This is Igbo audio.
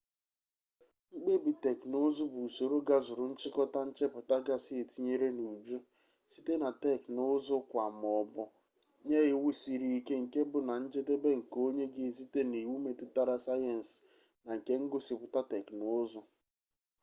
mkpebi teknụụzụ bụ usoro gazuru nchịkọta nchepụta gasị etinyere n'uju site na technụụzụ-kwaa maọbụ nye iwu siri ike nke bụ na njedebe nke onye ga-esite n'iwu metụtara sayensi na nke ngosipụta teknụụzụ